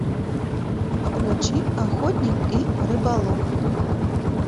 включи охотник и рыболов